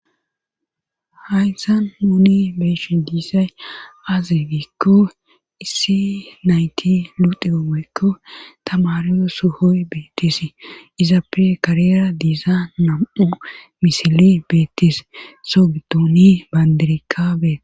Haysan huuni beeshi diisay azigikko issi nayti luti oomeykko tamariyo sohoy beetis izappe karera diiza nam'u misile beetis sogduuni bandirikabee.